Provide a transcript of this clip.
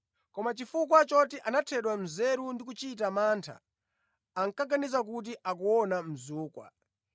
Koma chifukwa choti anathedwa nzeru ndi kuchita mantha, ankaganiza kuti akuona mzukwa.